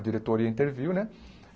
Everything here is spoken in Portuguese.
A diretoria interviu, né?